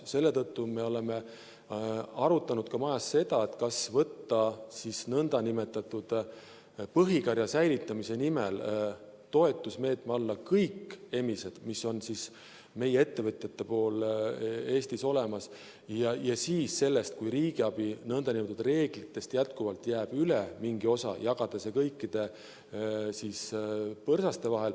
Selle tõttu me oleme arutanud ka seda, kas võtta nn põhikarja säilitamise nimel toetusmeetme alla kõik emised, kes on meie ettevõtjatel Eestis olemas, ja siis, kui riigiabi reeglitest lähtuvalt jääb mingi osa üle, jagada see kõikide põrsaste vahel.